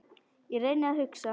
Ég reyndi að hugsa.